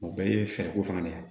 O bɛɛ ye fɛɛrɛ ko fana de ye